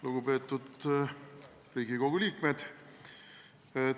Lugupeetud Riigikogu liikmed!